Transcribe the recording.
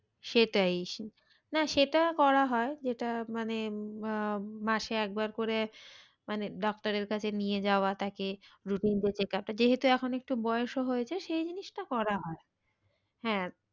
সেটাই সে না সেটা করা হয় যেটা মানে আহ মাসে একবার করে মানে doctor এর কাছে নিয়ে যাওয়াটাকে routine check up যেহেতু এখন একটু বয়স ও হয়েছে সেই জিনিসটা করা হয়। হ্যাঁ,